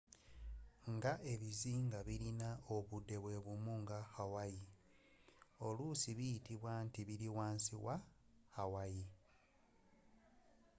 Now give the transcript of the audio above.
nga ebizinga bilina obudde bwebumu nga hawaii olusi biyitibwa nti bili wansi was hawaii